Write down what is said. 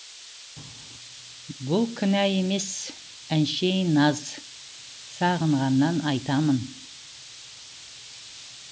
бұл кінә емес әншейін наз сағынғаннан айтамын